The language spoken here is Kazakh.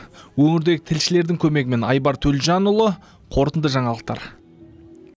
өңірдегі тілшілердің көмегімен айбар төлжанұлы қорытынды жаңалықтар